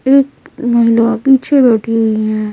एकमहिला पीछे बैठे हुई हैं।